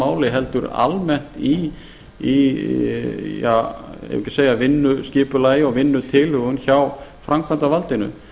máli heldur almennt í eigum við ekki að segja í vinnuskipulagi og vinnutilhögun hjá framkvæmdarvaldinu